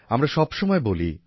আমরা সব সময় বলি